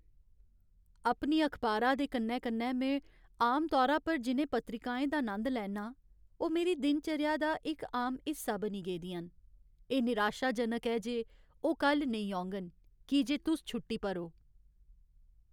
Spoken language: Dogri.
अपनी अखबारा दे कन्नै कन्नै में आमतौरा पर जि'नें पत्रिकाएं दा नंद लैन्ना आं ओह् मेरी दिन चर्या दा इक आम हिस्सा बनी गेदियां न। एह् निराशाजनक ऐ जे ओह् कल्ल नेईं औङन की जे तुस छुट्टी पर ओ।